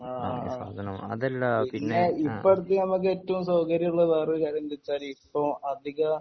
ആഹ് പിന്നെ ഇപ്പൊടുത്ത് നമുക്ക് ഏറ്റവും സൗകര്യം ഉള്ള വേറൊരു കാര്യം എന്താച്ചാൽ ഇപ്പൊ അധിക